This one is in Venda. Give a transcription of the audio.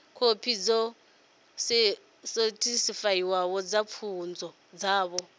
khophi dzo sethifaiwaho dza pfunzo dzavho